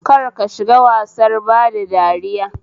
Kar ka shiga wasar bada dariya